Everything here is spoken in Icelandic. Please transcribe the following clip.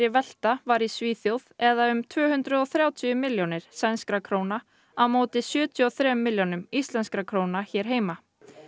velta var í Svíþjóð eða um tvö hundruð og þrjátíu milljónir sænskra króna á móti sjötíu og þremur milljónum íslenskra króna hér heima